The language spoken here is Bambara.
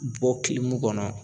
Bɔ kɔnɔ